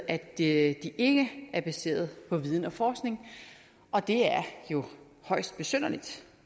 at de ikke ikke er baseret på viden og forskning og det er jo højst besynderligt